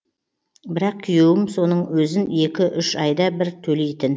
бірақ күйеуім соның өзін екі үш айда бір төлейтін